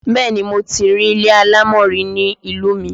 Bẹ́ẹ̀ni, mo ti rí ilé alámọ̀ rí ní ìlú mi